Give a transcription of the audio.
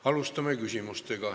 Alustame küsimustega.